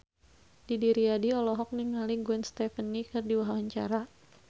Didi Riyadi olohok ningali Gwen Stefani keur diwawancara